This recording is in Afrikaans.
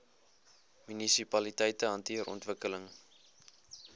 munisipaliteite hanteer ontwikkeling